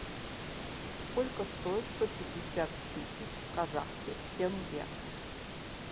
сколько стоит сто пятьдесят тысяч казахских тенге